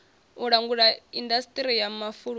u langula indasiṱiri ya mafulufulu